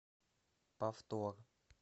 повтор